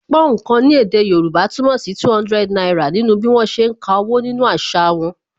Púnǹkan ni èdè Yorùbá túmọ̀ sí 200 náírà nínú bí wọn ṣe ń ka owó nínú àṣà wọn